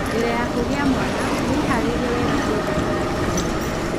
Mbere ya kũgĩa mwana, wĩhaarĩrie wega kĩĩmbeca na kĩĩmeciria.